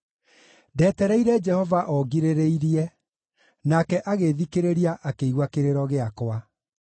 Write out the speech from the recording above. Ndetereire Jehova o ngirĩrĩirie; nake agĩĩthikĩrĩria akĩigua kĩrĩro gĩakwa.